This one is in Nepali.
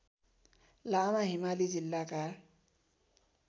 लामा हिमाली जिल्लाका